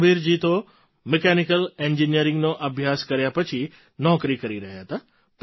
રામવીરજી તો મિકેનિકલ એન્જિનિયરિંગનો અભ્યાસ કર્યા પછી નોકરી રહ્યા હતા